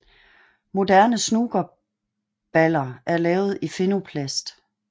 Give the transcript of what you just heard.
Moderne snookerballer er lavet i Phenoplast